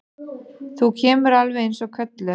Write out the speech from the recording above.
Þú kemur alveg eins og kölluð!